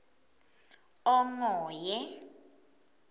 ongoye